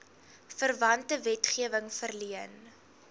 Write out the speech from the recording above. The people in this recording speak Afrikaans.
verwante wetgewing verleen